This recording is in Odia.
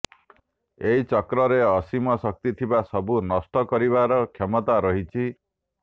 ଏହି ଚକ୍ରରେ ଅସୀମ ଶକ୍ତି ଥିବାରୁ ସବୁ ନଷ୍ଟ କରିବାର କ୍ଷମତା ରହିଛି